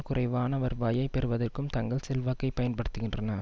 குறைவான வருவாயை பெறுவதற்கும் தங்கள் செல்வாக்கை பயன்படுத்துகின்றன